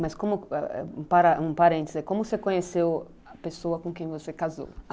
Mas como como, um parêntese, como você conheceu a pessoa com quem você casou?